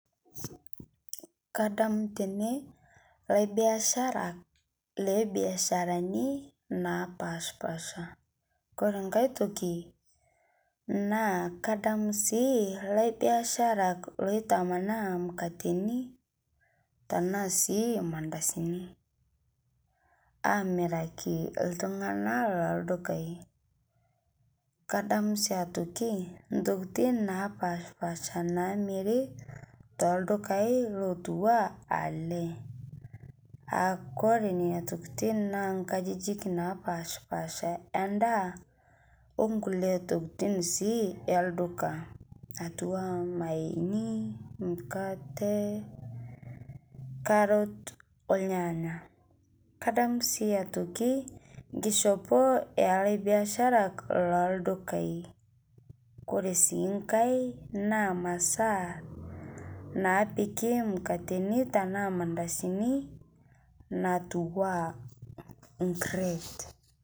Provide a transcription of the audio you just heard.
Kadamu tene laibiasharak le biasharani napaspasha. Kore nkai ntokii kadamu sii laibiasharak loitamanaa mukateni tana sii mandasini amirakii ltung'ana lo dukai. Kadamu sii atokii ntokitin napaspasha namiiri to dukai lotuwaa ale aa kore nenia ntokitin naa nkajijin napaspasha e ndaa o nkulee ntokitin sii elduka atuuwa mayeni, mukate, karrot olnyanya. Kadamu sii aitokii nkishopoo e laibiasharak lo dukai. Kore sii nkai naa masaa napiiki mukateni tana mandasini natuwua nkireet.